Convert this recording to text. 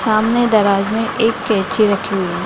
सामने दरवाजे हैं एक केंची रखी हुई है।